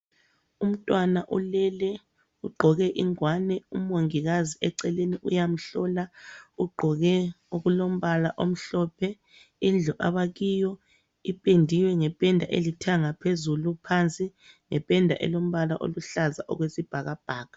Umtnwana ulele ugqoke ingwane umongilazi eceleni uyamhlola ugqoke okulombala omhlophe, indlu abakiyo ipendiwe ngependa elithanga phezulu, phansi ngependa elombala oluhlaza okwesibhakabhaka.